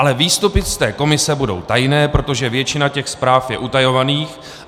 Ale výstupy z té komise budou tajné, protože většina těch zpráv je utajovaných.